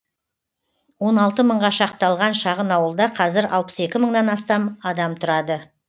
он алты мыңға шақталған шағын ауылда қазір алпыс екі мыңнан астам адам тұрады